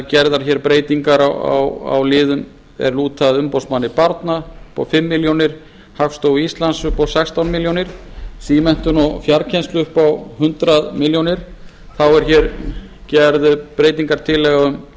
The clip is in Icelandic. gerðar eru breytingar á liðum er lúta að umboðsmanni barna upp á fimm milljónir króna hagstofu íslands upp á sextán milljónum króna símenntun og fjarkennslu upp á hundrað milljónir króna þá er gerð breytingartillaga